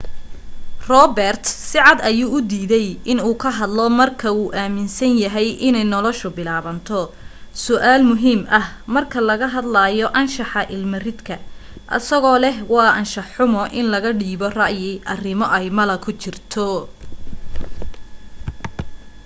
robert sicad ayuu u diiday in uu ka hadlo marka uu aminsan yahay inay nolasha bilaabato su'aal muhiim ah marka laga hadlayo anshaxa ilma ridka asagoo leh waa anshax xumo in laga dhiibo ra'yi arimo ay malo ku jirto